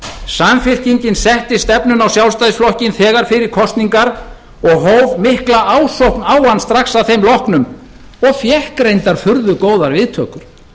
samfylkingin setti stefnuna á sjálfstæðisflokkinn þegar fyrir kosningar og hóf mikla ásókn á hann strax að þeim loknum og fékk reyndar furðu góðar viðtökur